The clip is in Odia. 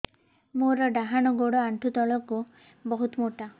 ମୋର ଡାହାଣ ଗୋଡ ଆଣ୍ଠୁ ତଳୁକୁ ବହୁତ ମୋଟା